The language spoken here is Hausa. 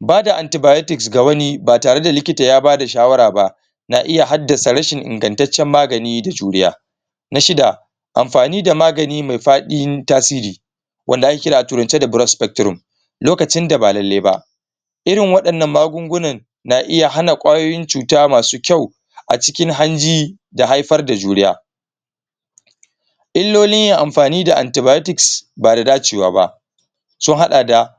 bada antibiotics ga wani ba tare da likita ya bada shawara ba na iya hadasa rashin ingantancen magani da juriya na shida amfani da magani mai fadin tasiri wanda ake kira a turance da broad spectrum lokacin da ba lallai ba irin wadan nan magunguna na iya hana kwayoyin cuta masu kyau a cikin hanji da haifar da juriya ilolin yin amfani da antibiotics ba da dacewa ba sun hada da